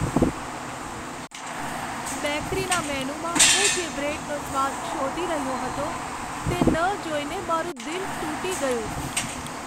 બેકરીના મેનૂમાં હું જે બ્રેડનો સ્વાદ શોધી રહ્યો હતો તે ન જોઈને મારું દિલ તૂટી ગયું.